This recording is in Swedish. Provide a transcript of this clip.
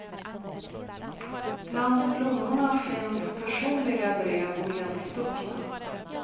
Bland blommorna finns personliga brev nedstuckna.